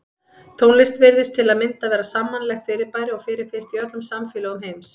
Tónlist virðist til að mynda vera sammannlegt fyrirbæri og fyrirfinnst í öllum samfélögum heims.